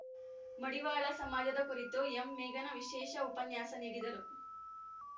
ಮಡಿವಾಳ ಸಮಾಜದ ಕುರಿತು ಎಂಮೇಘನಾ ವಿಶೇಷ ಉಪನ್ಯಾಸ ನೀಡಿದರು